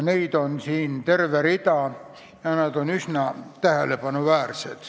Neid on terve rida ja nad on üsna tähelepanuväärsed.